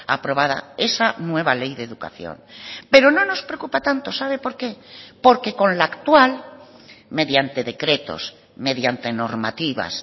aprobada esa nueva ley de educación pero no nos preocupa tanto sabe por qué porque con la actual mediante decretos mediante normativas